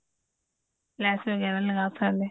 ਲੈਸ ਵਗੇਰਾ ਵੀ ਲਗਾ ਸਕਦੇ ਹਾਂ